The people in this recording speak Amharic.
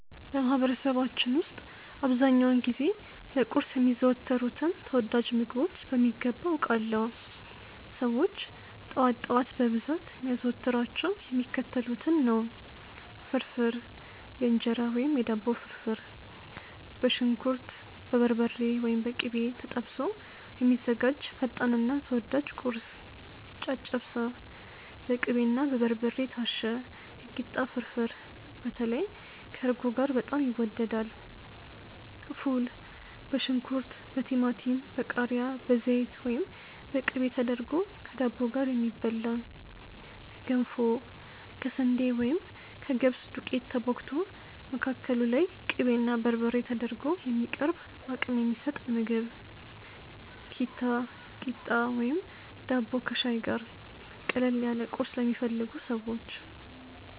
በማህበረሰባችን ውስጥ አብዛኛውን ጊዜ ለቁርስ የሚዘወተሩትን ተወዳጅ ምግቦች በሚገባ አውቃለሁ! ሰዎች ጠዋት ጠዋት በብዛት የሚያዘወትሯቸው የሚከተሉትን ነው፦ ፍርፍር (የእንጀራ ወይም የዳቦ ፍርፍር)፦ በሽንኩርት፣ በበርበሬ (ወይም በቅቤ) ተጠብሶ የሚዘጋጅ ፈጣንና ተወዳጅ ቁርስ። ጨጨብሳ፦ በቅቤና በበርበሬ የታሸ የኪታ ፍርፍር (በተለይ ከእርጎ ጋር በጣም ይወደዳል)። ፉል፦ በሽንኩርት፣ በቲማቲም፣ በቃሪያ፣ በዘይት ወይም በቅቤ ተደርጎ ከዳቦ ጋር የሚበላ። ገንፎ፦ ከስንዴ ወይም ከገብስ ዱቄት ተቦክቶ፣ መካከሉ ላይ ቅቤና በርበሬ ተደርጎ የሚቀርብ አቅም የሚሰጥ ምግብ። ኪታ፣ ቂጣ ወይም ዳቦ ከሻይ ጋር፦ ቀለል ያለ ቁርስ ለሚፈልጉ ሰዎች።